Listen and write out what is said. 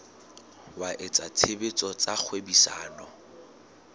wa etsa tshebetso tsa kgwebisano